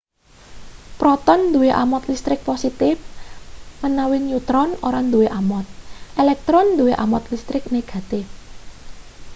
proton duwe amot listrik positif menawi neutron ora duwe amot elektron duwe amot listrik negatif